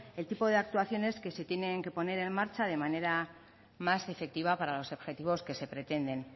el tipo de actuaciones que se tienen que poner en marcha de manera más efectiva para los objetivos que se pretenden